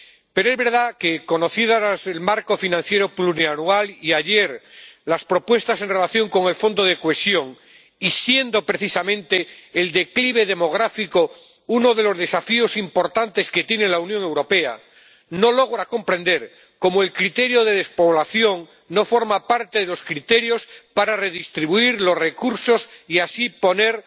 Pero es verdad que, conocido el marco financiero plurianual y, ayer, las propuestas en relación con el Fondo de Cohesión, y siendo precisamente el declive demográfico uno de los desafíos importantes que tiene la Unión Europea, no logro comprender cómo el criterio de despoblación no forma parte de los criterios para redistribuir los recursos y así poner